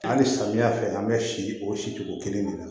Hali samiyɛ fɛ an bɛ si o si cogo kelen de la